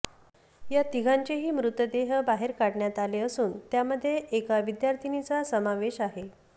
यात तिघांचेही मृतदेह बाहेर काढण्यात आले असून यामध्ये एका विद्यार्थिनीचा समावेश आहे